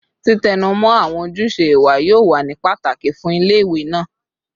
Titẹnumọ awọn ojuse iwa yoo wa ni pataki fun ile-iwe naa